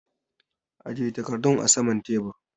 Aje takardun a saman tebur!